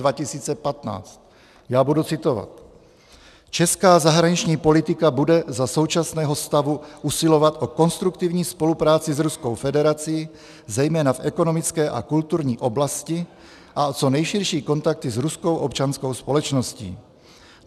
Já budu citovat: "Česká zahraniční politika bude za současného stavu usilovat o konstruktivní spolupráci s Ruskou federací, zejména v ekonomické a kulturní oblasti, a o co nejširší kontakty s ruskou občanskou společností.